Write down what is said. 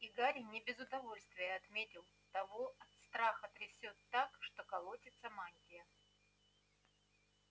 и гарри не без удовольствия отметил того от страха трясёт так что колотится мантия